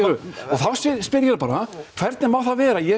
þá spyr ég bara hvernig má það vera að ég